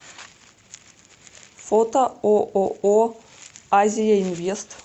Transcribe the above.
фото ооо азияинвест